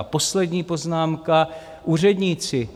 A poslední poznámka, úředníci.